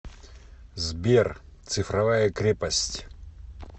сбер цифровая крепость